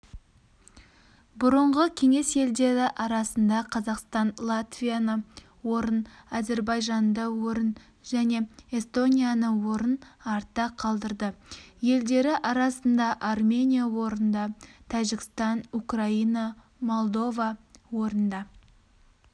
бұрынғы кеңес елдері арасында қазақстан латвияныорын әзірбайжанды орын және эстонияны орын артта қалдырды елдері арасында армения орында тәжікстан украина молдова орында